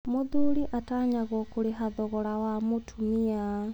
Mũthuri atanyagwo kũrĩha thogora wa mũtumia?